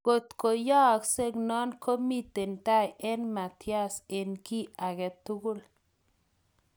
Inkotko yooksek non, komiten tai eng Matias en kiy agetugul